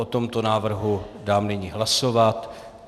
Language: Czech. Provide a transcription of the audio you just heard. O tomto návrhu dám nyní hlasovat.